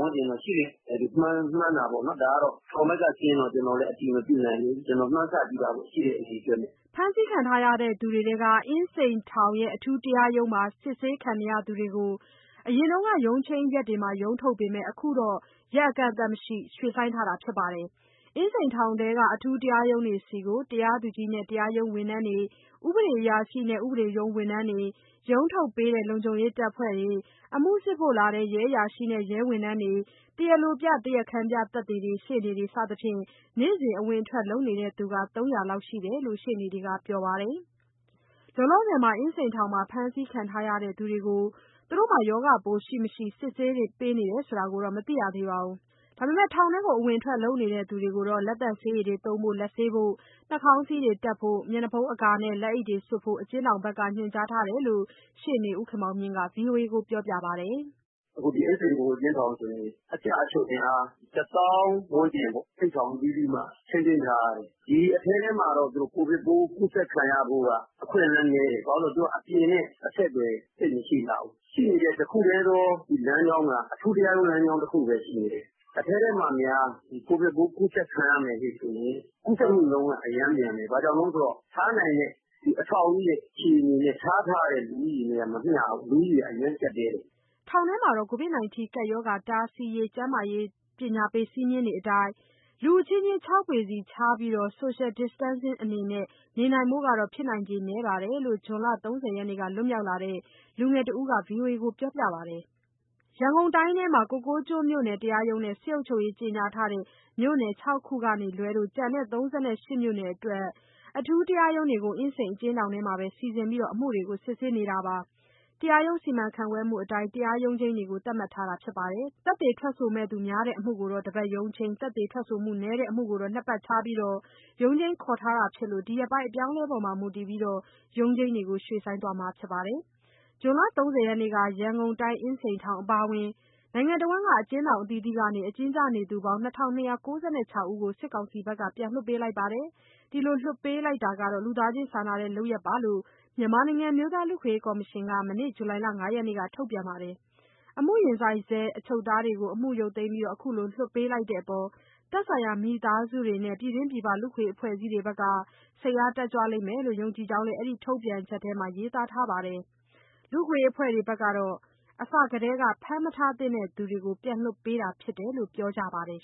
၂၀၀ ဝန်းကျင် ရှိလိမ့်မယ် မှန်းတာပေါ့နော်။ ဒါကတော့ ထောင်ဘက်ကစရင်းတော့ ကျနော်တို့လည်း အတည်မပြုနိုင်သေးဘူး၊ ကျနော်မှန်းဆကြည့်တာပေါ့ ရှိတဲ့အရေအတွက်နဲ့။” ဖမ်းဆီးခံရသူတွေထဲက အင်းစိန်ထောင် အထူးတရားရုံးတွေမှာ အမှုစစ်ဆေးခံနေရသူတွေကို အရင်က ရုံးချိန်းနေ့တွေမှာ ရုံးထုတ်ပေမဲ့ အခု အကန့်အသတ်မရှိ ဆိုင်းထားတာဖြစ်ပါတယ်။ အင်းစိန်ထောင်ထဲက အထူးတရားရုံးတွေဆီကို တရားသူကြီးနဲ့ တရားရုံးဝန်ထမ်းတွေ၊ ဥပဒေအရာရှိနဲ့ ဥပဒေရုံးဝန်ထမ်းတွေ၊ ရုံးထုတ်ပေးတဲ့ လုံခြုံရေးတပ်ဖွဲ့တွေ၊ အမှုစစ်ဖို့လာတဲ့ ရဲအရာရှိနဲ့ ရဲဝန်ထမ်းတွေ၊ တရားလိုပြ တရားခံပြသက်သေတွေ၊ ရှေ့နေတွေ စသဖြင့် နေ့စဉ်အဝင်အထွက် လုပ်နေသူ ၃၀၀ လောက်ရှိတယ်တယ်လို့ ရှေ့နေတွေက ပြောပါတယ်။ လောလောဆယ် အင်းစိန်ထောင်မှာ ဖမ်းဆီးခံထားရသူတွေကို ရောဂါပိုးရှိ၊ မရှိ စစ်ဆေးမှုတွေ လုပ်ပေးတယ်လို့ မကြားသိရပါဘူး။ ထောင်ထဲ ဝင်ထွက်နေသူတွေကိုတော့ လက်သန့်ဆေရည်သုံးဖို့၊ လက်ဆေးဖို့၊ နှာခေါင်းစည်းတပ်ဖို့ မျက်နှာအကာနဲ့ လက်အိတ် စွပ်ဖို့ အကျဉ်းထောင်ဘက်က ညွှန်ကြားထားတယ်လို့ ရှေ့နေဦးခင်မောင်မြင့်က ဗွီအိုအေကို ပြောပါတယ်။ “ အခုဒီအင်းစိန် ဗဟိုအကျဉ်းထောင်ဆိုရင် အကျအချုပ်အင်အား ၁၀,၀၀၀ ဝန်းကျင်ပေါ့ အိပ်ဆောင်အသီးသီးမှာ ထိန်းသိမ်းထားရတယ်။ ဒီအထဲထဲမှာတော့ ကိုဗစ်ပိုး ကူးစက်ခံရဖို့က အခွင့်အလမ်းနည်းတယ်။ ဘာလို့ဆို အပြင်နဲ့အဆက်အသွယ် သိပ်မရှိလှဘူး။ ရှိနေတဲ့ တခုတည်းသော ဒီလမ်းကြောင်းက အထူးတရားရုံး လမ်းကြောင်းတခုပဲ ရှိနေတယ်။ အထဲထဲမှာများ ကိုဗစ်ပိုးကူးစက်ခံရမယ်ဆိုရင် ကူးစက်မှုနှုန်းက အရမ်းမြန်မယ်။ ထားနိုင်တဲ့ အဆောက်အဦးရဲ့ အခြေအနေနဲ့ ထားတဲ့လူဦးရေနဲ့က မမျှဘူး၊ လူဦးရေက အရမ်းကျပ်တည်းတယ်။” ထောင်ထဲမှာ ကိုဗစ်ရောဂါတားဆီးရေး စည်းမျဉ်းတွေအတိုင်း လူအချင်းချင်း ၆ ပေကြိုဗစ်ကြောင့် အင်းစိန်အထူးတရားရုံးများကြားနာမှုယာယီရပ်ဆိုင်းထား ခြားနေရဖို့ဆိုတာ ဖြစ်နိုင်ခြေနည်းတယ်လို့ ဇွန်လ ၃၀ရက်က လွတ်မြောက်လာတဲ့ လူငယ်တဦးက ဗွီအိုအေကိုပြောပြပါတယ်။ ကိုကိုးကျွန်းမြို့နယ်တရားရုံးနဲ့ စစ်အုပ်ချုပ်ရေးကြေညာထားတဲ့ မြို့နယ် ၆ ခုကလွဲလို့ ရန်ကုန်တိုင်းထဲက ကျန်တဲ့ ၃၈ မြို့နယ်အတွက် အထူးတရားရုံးတွေကို အင်းစိန်အကျဉ်းထောင်ထဲမှာပဲ စီစဉ်ပြီး အမှုတွေ စစ်ဆေးနေပါတယ်။ တရားရုံးစီမံခန့်ခွဲမှုအတိုင်း တရားရုံးချိန်းတွေကို သတ်မှတ်ထားပြီး ဖြစ်ပါတယ်။ သက်သေများတဲ့အမှုကို တပတ်ရုံးချိန်း၊ သက်သေနည်းတဲ့အမှုကို နှစ်ပတ်ခြားပြီး ရုံးချိန်းခေါ်ထားတာဖြစ်လို့ ဒီရက်ပိုင်း အပြောင်းအလဲအပေါ် မူတည်ပြီး ရုံးချိန်းတွေကို ရွှေ့ဆိုင်းသွားမှာပါ။ ဇွန်လ ၃၀ ရက်နေ့က ရန်ကုန်အင်းစိန်ထောင်အပါအဝင် အကျဉ်းထောင်အသီးသီးမှာ အကျဉ်းကျနေသူ ၂၂၉ ၆ ယောက်ကို စစ်ကောင်စီက ပြန်လွှတ်ပေးခဲ့ပါတယ်။ ဒီလိုလွှတ်ပေးတာဟာ လူသားချင်းစာနာတဲ့လုပ်ရပ် ဖြစ်တယ်လို့ မြန်မာနိုင်ငံ အမျိုးသား လူ့အခွင့်အရေးကော်မရှင်က မနေ့က ဇူလိုင်လ ၅ ရက်မှာ ထုတ်ပြန်ထားပါတယ်။ အမှုရင်ဆိုင်ဆဲ အချုပ်သားတွေကို အမှုရုတ်သိမ်းပြီး အခုလို လွှတ်ပေးလိုက်တဲ့အပေါ် သက်ဆိုင်ရာ မိသားစုတွေနဲ့ ပြည်တွင်းပြည်ပ လူ့အခွင့်အရေး အဖွဲ့အစည်းတွေကလည်း စိတ်အား တက်ကြွလိမ့်မယ်လို့ ယုံကြည်ကြောင်း အဲဒီထုတ်ပြန်ချက်ထဲမှာ ရေးသားထားတာပါ။ လူ့အခွင့်အရေးအဖွဲ့တွေကတော့ အစထဲက ဖမ်းမထားသင့်သူတွေကို ပြန်လွှတ်ပေးတာဖြစ်တယ်လို့ ပြောကြပါတယ်